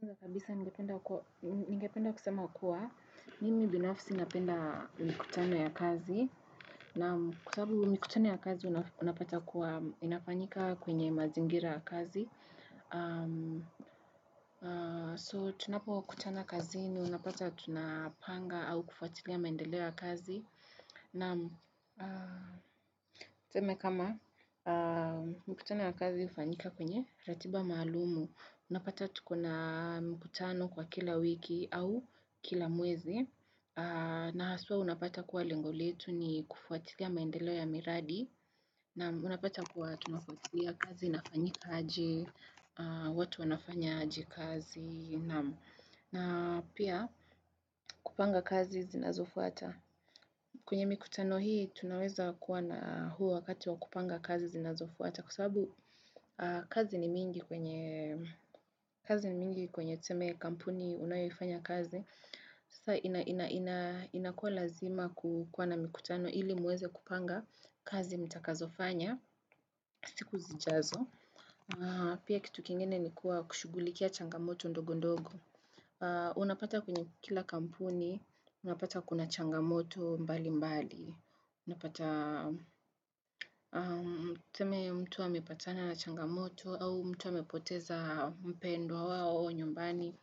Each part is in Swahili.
Kwanza kabisa ngependa kusema kua, nimi binafisi napenda mkutano ya kazi. Naa kwasaba mikutano ya kazi unapata kuwa inapafayika kwenye mazingira kazi. So tunapo kutana kazini unapata tunapanga au kufuatilia maendelea ya kazi. Naa tuseme kama mkutano ya kazi hufanyika kwenye ratiba maalumu. Unapata tukona mikutano kwa kila wiki au kila mwezi. Na haswa unapata kuwa lengo letu ni kufuatilia maendelo ya miradi. Naa unapata kuwa tunafuatilia kazi inafanyika aje, watu wanafanya aje kazi. Na pia kupanga kazi zinazofuata. Kwenye mkutano hii tunaweza kuwa na huu wakati wa kupanga kazi zinazofuata. Kwa sababu kazi ni mingi kwenye kazi ni mingi kwenye tuseme kampuni unayoifanyia kazi. Sasa inakua lazima kukwana mikutano ili muweze kupanga kazi mtakazofanya siku zijazo. Pia kitu kingene ni kuwa kushugulikia changamoto ndogo ndogo. Unapata kwenye kila kampuni, unapata kuna changamoto mbali mbali. Unapata tuseme mtu wa amepatana na changamoto au mtu ampoteza mpendwa wao nyumbani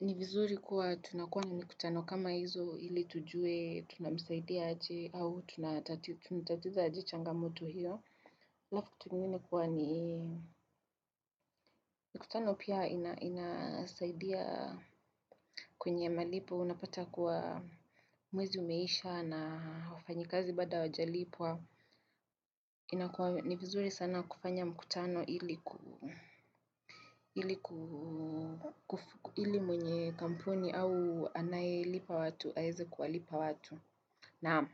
ni vizuri kuwa tunakuanu na mikutano kama hizo ili tujue tunamisaidia aje au tunatatiza aje changamoto hiyo halafu kitu kingine kuwa ni mikutano pia inasaidia kwenye malipo unapata kuwa mwezi umeisha na wafanyikazi bada hawajalipwa ni vizuri sana kufanya mkutano ili ku ili mwenye kampuni au anayelipa watu, aweze kuwalipa watu. Naam.